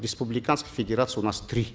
республиканских федераций у нас три